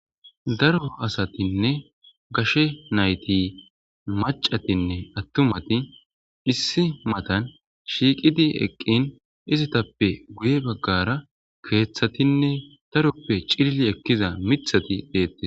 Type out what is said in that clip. daro asatinne gashe nayti macatinne attumati issi matan shiiqidi eqqin izitappe guye baggara keeththatinne daroppe cilli ekkiza mithati deettes